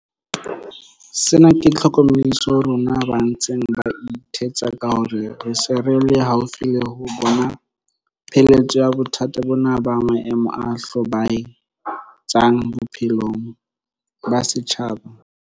Sena ke tlhokomediso ho rona ba ntseng ba ithetsa ka hore re se re le haufi le ho bona pheletso ya bothata bona ba maemo a hlobae tsang bophelong ba setjhaba.